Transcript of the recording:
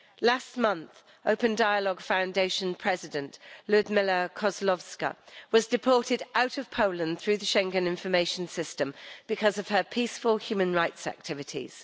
Last month, Open Dialogue Foundation President Lyudmyla Kozlovska was deported out of Poland through the Schengen Information System because of her peaceful human rights activities.